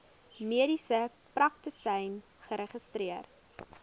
mediese praktisyn geregistreer